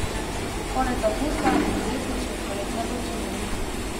Konec avgusta bo prijetnejši od poletne vročine.